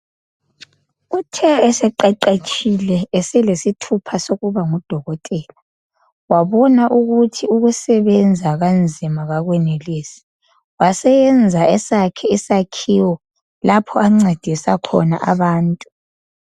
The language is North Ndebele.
Uthe eseqeqetshile eselesithupha sokubangudokotela. Wabona ukuthi ukusebenza kanzima kakwenelisi, waseyenza esakhe isakhiwo lapho ancedisa khona abantu.